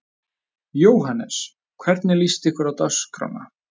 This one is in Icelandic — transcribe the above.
Jóhannes: Hvernig líst ykkur á dagskrána?